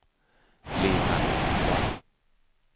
Leonard Ohlsson